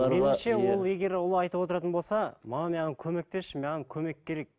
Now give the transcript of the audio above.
меніңше ол егер ол айтып отыратын болса мама маған көмектесші маған көмек керек